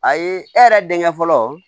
A ye e yɛrɛ denkɛ fɔlɔ